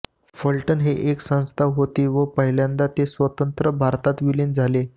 फलटण हे एक संस्थान होते व पहिल्यांदा ते स्वंतत्र भारतात विलीन झाले